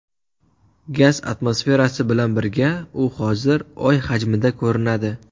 Gaz atmosferasi bilan birga u hozir Oy hajmida ko‘rinadi.